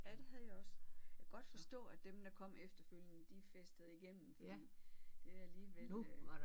Ja det havde jeg også. Jeg kan godt forstå at dem der kom efterfølgende de festede igennem fordi det er alligevel øh